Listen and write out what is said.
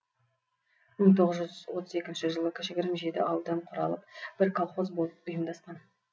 мың тоғыз жүз отыз екінші жылы кішігірім жеті ауылдан құралып бір колхоз болып ұйымдасқан